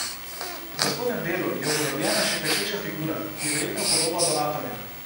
V spodnjem delu je upodobljena še klečeča figura, ki je verjetno podoba donatorja.